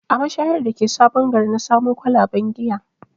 A mashayar da ke sabon gari na samo kwalaben giya